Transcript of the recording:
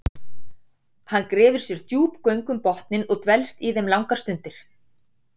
hann grefur sér djúp göng um botninn og dvelst í þeim langar stundir